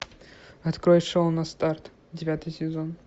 открой шоу на старт девятый сезон